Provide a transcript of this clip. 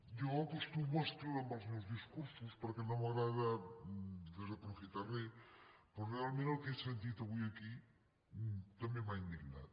jo acostumo a escriure’m els meus discursos perquè no m’agrada desaprofitar res però realment el que he sentit avui aquí també m’ha indignat